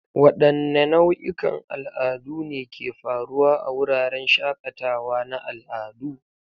Wadanne nau'ikan al'adu ne ke faruwa a wuraren shakatawa na al'adu?